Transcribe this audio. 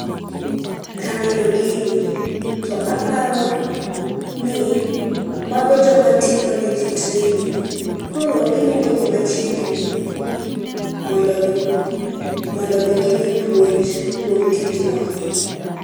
Kaneno gini to aparo ni mago joma timo neji training. Koro giluongo ji machiegni mondo mi gimi puonj kuom tijno.